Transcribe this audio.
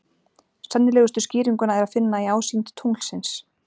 Sennilegustu skýringuna er að finna í ásýnd tunglsins.